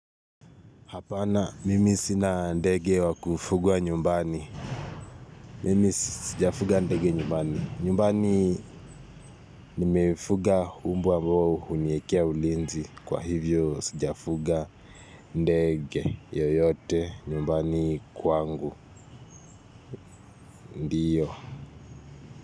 Hapana, mimi sina ndege wakufugwa nyumbani. Mimi sijafuga ndege nyumbani. Nyumbani nimefuga umbwa mbao huniekea ulinzi. Kwa hivyo sijafuga ndege yoyote nyumbani kwangu, ndiyo.